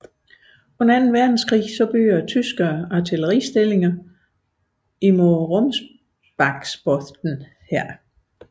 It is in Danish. Under anden verdenskrig byggede tyskerne artilleristillinger mod Rombaksbotn her